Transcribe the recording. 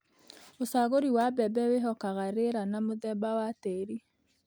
ũcagũri wa mbembe wĩhokaga rĩera, na mũthemba wa tĩri,